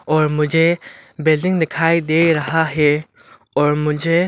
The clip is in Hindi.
और मुझे बिल्डिंग दिखाई दे रहा है और मुझे--